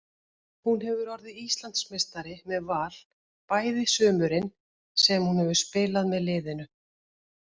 Hún hefur orðið Íslandsmeistari með Val bæði sumurin sem hún hefur spilað með liðinu.